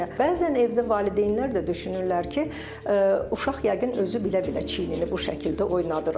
Bəzən evdə valideynlər də düşünürlər ki, uşaq yəqin özü bilə-bilə çiyinini bu şəkildə oynadır.